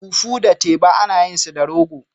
Fufu da teba ana yin su da rogo.